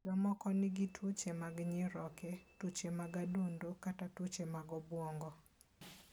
Jomoko nigi tuoche mag nyiroke, tuoche mag adundo, kata tuoche mag obwongo.